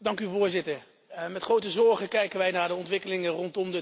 Met grote zorgen kijken wij naar de ontwikkelingen rondom de Turkijedeal.